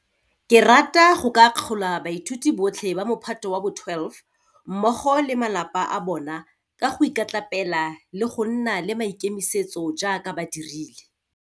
Ke rata go ka akgola bathuti botlhe ba Mophato wa bo 12 mmogo le ba malapa a bona ka go ikatlapela le go nna le maikemisetso jaaka ba dirile.